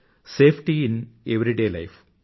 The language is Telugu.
safety in everyday life